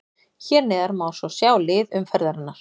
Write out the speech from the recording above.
Hér neðar má svo sjá lið umferðarinnar.